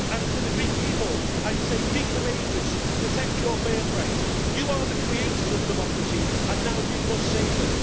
And to the Greek people I say be courageous, protect your birthright, you are the creators of democracy and now you must save it.